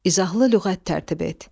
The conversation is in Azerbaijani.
İzahlı lüğət tərtib et.